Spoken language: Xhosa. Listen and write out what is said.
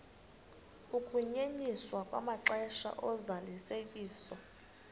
ukunyenyiswa kwamaxesha ozalisekiso